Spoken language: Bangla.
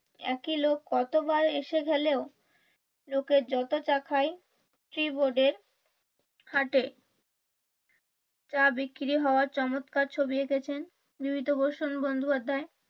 একই লোক কত বার এসে খেলেও লোকের যত চা খাই টি বোর্ডের হাটে চা বিক্রি হওয়ার চমৎকার ছবি এঁকেছেন বিভূতিভূষণ বন্দ্যোপাধ্যায়।